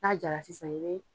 N'a jara sisan i be